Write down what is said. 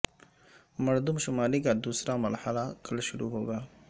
مردم شماری کا دوسرا مرحلہ کل شروع ہو گا